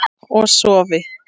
Og sofi.